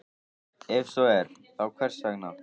Ef svo er, þá hvers vegna?